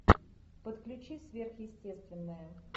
подключи сверхъестественное